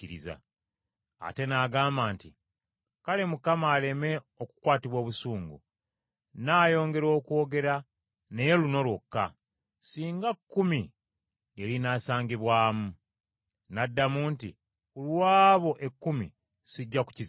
Ate n’agamba nti, “Kale Mukama aleme okukwatibwa obusungu, nnaayongera okwogera, naye luno lwokka. Singa kkumi lye linaasangibwamu.” N’addamu nti, “Ku lw’abo ekkumi sijja kukizikiriza.”